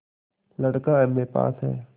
लड़का एमए पास हैं